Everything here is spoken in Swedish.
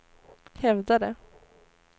hävdade